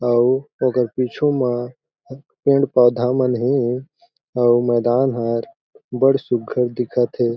अउ ओकर पिछू म पेड़-पौधा मन हे अउ मैदान हर बड़ सुघ्घर दिखत हे।